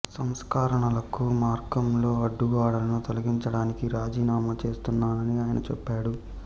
సంస్కరణలకు మార్గంలో అడ్డుగోడలను తొలగించడానికి రాజీనామా చేస్తున్నానని ఆయన చెప్పాడు